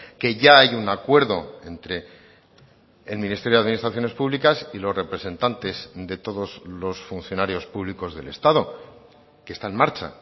que ya hay un acuerdo entre el ministerio de administraciones públicas y los representantes de todos los funcionarios públicos del estado que está en marcha